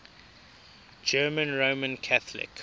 german roman catholic